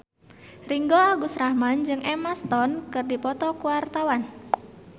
Ringgo Agus Rahman jeung Emma Stone keur dipoto ku wartawan